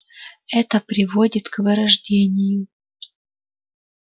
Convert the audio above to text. это приводит к вырождению